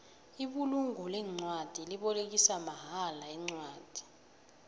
ibulungo leencwadi libolekisa mahala incwadi